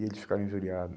e eles ficaram injuriado.